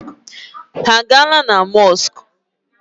Ha a gaala na mọskụ?